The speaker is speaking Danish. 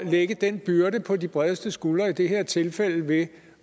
lægge den byrde på de bredeste skuldre i det her tilfælde ved